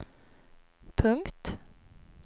punkt